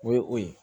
O ye o ye